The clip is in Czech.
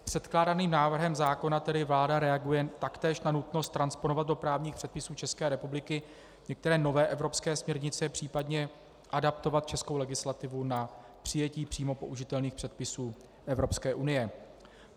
Předkládaným návrhem zákona tedy vláda reaguje taktéž na nutnost transponovat do právních předpisů České republiky některé nové evropské směrnice, případně adaptovat českou legislativu na přijetí přímo použitelných předpisů Evropské unie.